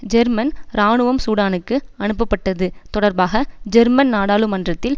German இராணுவம் சூடானுக்கு அனுப்பப்பட்டது தொடர்பாக ஜெர்மன் நாடாளுமன்றத்தில்